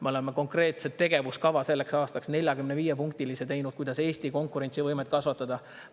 Me oleme selleks aastaks teinud konkreetse 45-punktilise tegevuskava, kuidas Eesti konkurentsivõimet kasvatada.